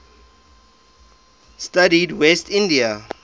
studied west indian